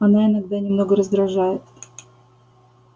она иногда немного раздражает